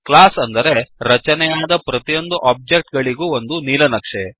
ಕ್ಲಾಸ್ಅಂದರೆ ರಚನೆಯಾದ ಪ್ರತಿಯೊಂದು ಒಬ್ಜೆಕ್ಟ್ ಗಳಿಗೂ ಒಂದು ನೀಲನಕ್ಷೆ